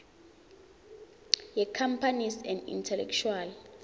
yecompanies and intellectual